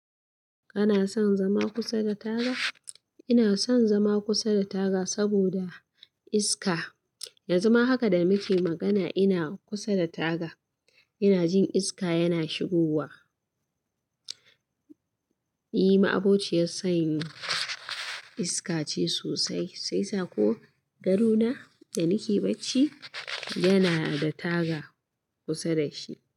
Kana son zama kusa da taga? Ina son zama kusa da taga saboda iska. Yanzu ma haka da nake magana ina kusa da taga, ina jin iska yana shigowa. E, ma'abociyar san iskace sosai, shiyasa ko dare ma da nake bacci yana da taga kusa da shi.